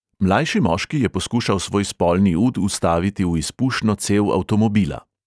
Mlajši moški je poskušal svoj spolni ud vstaviti v izpušno cev avtomobila.